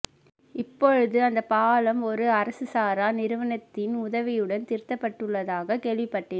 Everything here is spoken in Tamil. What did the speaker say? இப்பொழுது அந்தப் பாலம் ஓர் அரசுசாரா நிறுவனத்தின் உதவியுடன் திருத்தப்பட்டுள்ளதாக கேள்விப்பட்டேன்